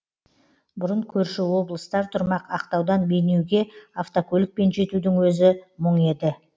бұрын көрші облыстар тұрмақ ақтаудан бейнеуге автокөлікпен жетудің өзі мұң еді